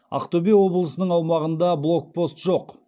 ақтөбе облысының аумағында блокпост жоқ